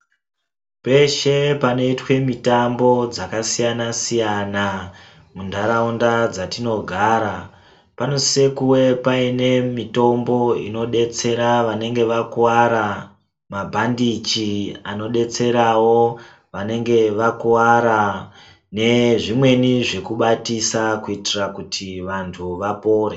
Peshe panoitwe mitambo dzakasiyana-siyana, muntaraunda dzatinogara ,panosise kuwe paine mitombo inodetsera vanenge vakuwara, mabhandichi anodetserawo vanenge vakuwara ,nezvimweni zvekubatisa kuitira kuti vanhu vapore.